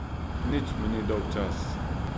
Nič mi ni dolgčas.